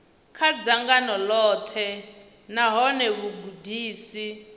kha dzangano ḽoṱhe nahone vhugudisi